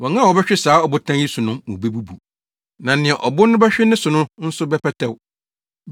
Wɔn a wɔbɛhwe saa ɔbotan yi so no mu bebubu, na nea ɔbo no bɛhwe ne so no nso bɛpɛtɛw.”